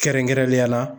Kɛrɛnkɛrɛnnenya la